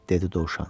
dedi dovşan.